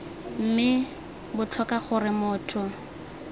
mme b tlhoka gore motho